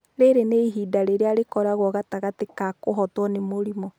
Rĩrĩ nĩ ihinda rĩrĩa rĩkoragwo gatagatĩ ka kũhootwo nĩ mũrimũ.